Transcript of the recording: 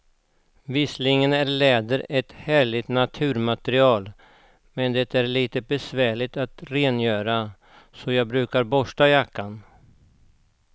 Visserligen är läder ett härligt naturmaterial, men det är lite besvärligt att rengöra, så jag brukar borsta jackan.